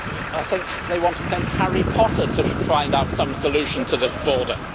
I think they want to send Harry Potter to find some solution to this border.